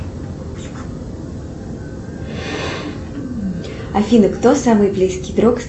афина кто самый близкий друг